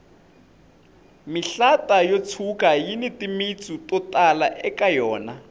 mihlata yo tshuka yini timitsu to tala eka yona